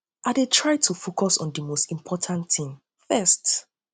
i dey try to focus on di most important thing first